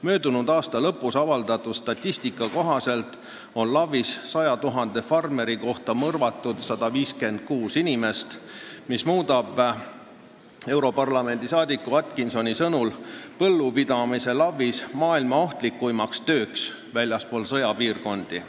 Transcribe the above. Möödunud aasta lõpus avaldatud statistika kohaselt on LAV-is 100 000 farmeri kohta keskmiselt mõrvatud 156 inimest, mis muudab europarlamendi liikme Atkinsoni sõnul põllupidamise LAV-is maailma ohtlikemaks tööks väljaspool sõjapiirkondi.